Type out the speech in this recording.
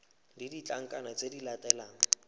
le ditlankana tse di latelang